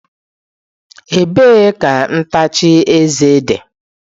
Ebee ka ntacha eze dị?